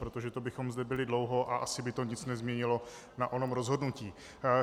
Protože to bychom zde byli dlouho a asi by to nic nezměnilo na onom rozhodnutí.